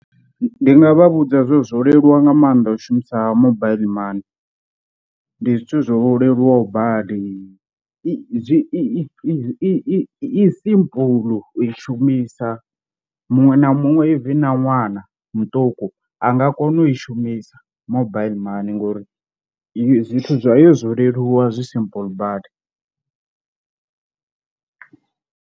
Ndi nga vha vhudza zwe zwo leluwa nga maanḓa u shumisa mobile money, ndi zwithu zwo leluwaho badi i I zwi i i simple u i shumisa, muṅwe na muṅwe even na ṅwana muṱuku a nga kona u i shumisa mobile money ngori zwithu zwa yo zwo leluwa zwi simple badi.